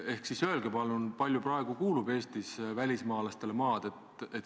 Ehk siis öelge palun, kui palju praegu kuulub Eestis välismaalastele maad.